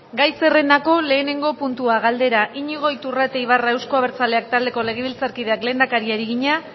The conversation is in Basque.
gai zerrendako lehenengo puntua galdera iñigo iturrate ibarra euzko abertzaleak taldeko legebiltzarkideak lehendakariari egina